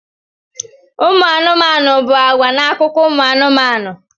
Ụmụ anụmanụ bụ àgwà n'akụkọ ụmụ anụmanụ.